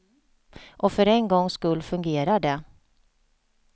Och för en gångs skull fungerar det.